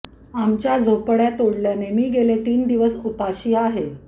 आमच्या झोपडय़ा तोडल्याने मी गेले तीन दिवस उपाशी आहे